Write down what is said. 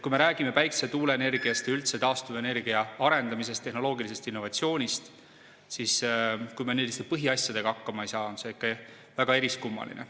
Kui me räägime päikese- ja tuuleenergiast, üldse taastuvenergia arendamisest, tehnoloogilisest innovatsioonist, siis kui me lihtsalt põhiasjadega hakkama ei saa, on see väga kummaline.